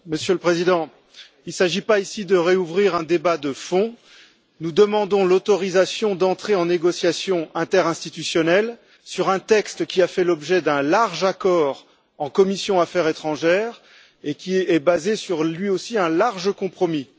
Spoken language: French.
Monsieur le président, il ne s'agit pas ici de réouvrir un débat de fond, nous demandons l'autorisation d'entrer en négociations interinstitutionnelles sur un texte qui a fait l'objet d'un large accord en commission Affaires étrangères et qui est basé lui aussi sur un large compromis.